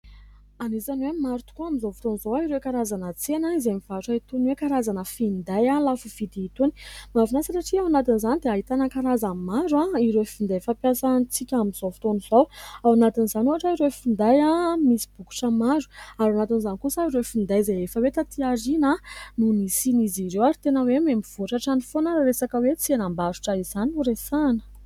Anisany hoe maro tokoa, amin'izao fotoana izao, ireo karazana tsena izay mivarotra itony hoe karazana finday lafovidy itony. Mahafinaritra satria ao anatin'izany dia ahitana karazany maro ireo finday fampiasantsika amin'izao fotoana izao. Ao anatin'izany ohatra ireo finday misy bokotra maro, ary ao anatin'izany kosa ireo finday izay efa hoe taty aoriana no nisian'izy ireo. Ary tena hoe mihamivoatra hatrany foana raha resaka hoe tsenam-barotra izany foana no resahana.